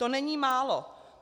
To není málo.